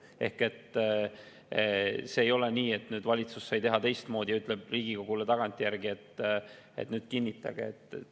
Ehk ei ole nii, et nüüd valitsus sai teha teistmoodi ja ütleb Riigikogule tagantjärgi, et kinnitage.